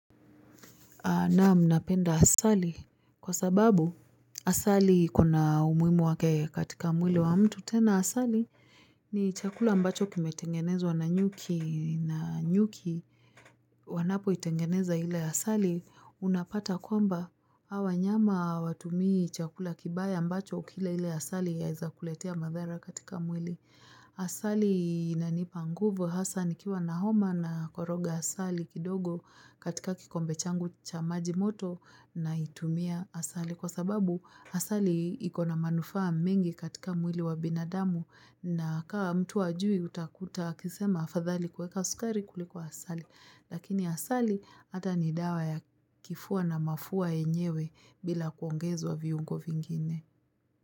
Naam napenda asali kwa sababu asali iko na umuhimu wake katika mwili wa mtu tena asali ni chakula ambacho kimetengenezwa na nyuki na nyuki wanapoitengeneza ile asali unapata kwamba hawa wanyama hawatumii chakula kibaya ambacho ukila ile asali yaeza kuletea madhara katika mwili. Asali inanipa nguvu hasa nikiwa na homa nakoroga asali kidogo katika kikombe changu cha maji moto naitumia asali kwa sababu asali iko na manufaa mingi katika mwili wa binadamu na kaa mtu hajui utakuta akisema sfadhali kuweka sukari kuliko asali. Lakini asali hata ni dawa ya kifua na mafua yenyewe bila kuongezwa viungo vingine.